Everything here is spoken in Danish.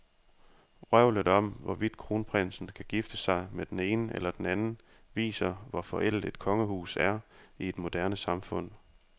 Vrøvlet om, hvorvidt kronprinsen kan gifte sig med den ene eller den anden, viser, hvor forældet et kongehus er i et moderne samfund.